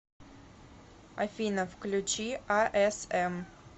афина включи а эс эм